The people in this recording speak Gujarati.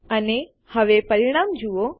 અને હવે પરિણામ જુઓ